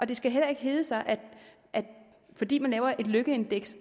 det skal heller ikke hedde sig at fordi man laver et lykkeindeks